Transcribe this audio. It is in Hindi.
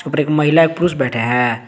और एक महिला एक पुरुष बैठे हैं।